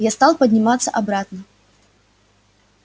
я стал подниматься обратно